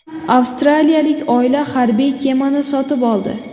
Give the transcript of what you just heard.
Avstraliyalik oila harbiy kemani sotib oldi.